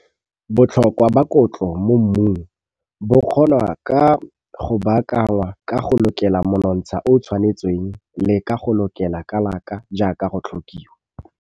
Botlhokwa ba kotlo mo mmung bo kgonwa go baakangwa ka go lokela monontsha o o tshwanetseng le ka go lokela kalaka jaaka go tlhokiwa.